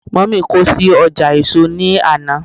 mummy kò sí ọjà èso ni Ana.